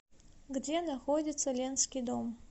где находится ленский дом